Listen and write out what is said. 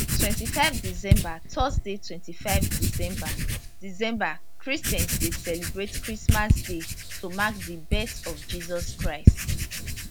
25 december thursday25 december december christians dey celebrate christmas day to mark di birth of jesus christ